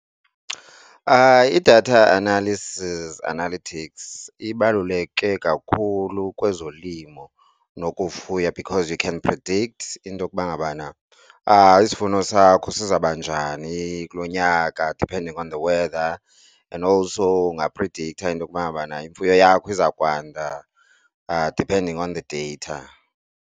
I-data analysis analytics ibaluleke kakhulu kwezolimo nokufuya because you can predict into yokuba ngabana isivuno sakho sizoba njani kulo nyaka depending on the weather and also ungaphrediktha into ukuba ngabana imfuyo yakho izokwanda depending on the data.